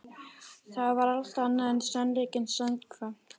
Það var allt annað en sannleikanum samkvæmt.